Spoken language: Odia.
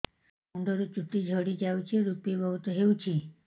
ମୁଣ୍ଡରୁ ଚୁଟି ଝଡି ଯାଉଛି ଋପି ବହୁତ ହେଉଛି